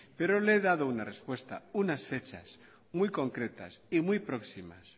pero le he dado una respuesta unas fechas muy concretas y muy próximas